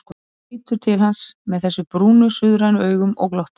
Við vorum fátöluð í sporvagninum, en hugrenningarnar þeim mun ólmari og óskipulegri.